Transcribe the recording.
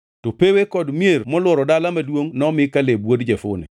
(To pewe kod mier molworo dala maduongʼ nomi Kaleb wuod Jefune.)